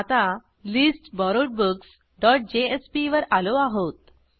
आता listborrowedbooksजेएसपी वर आलो आहोत